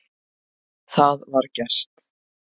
Það var gert.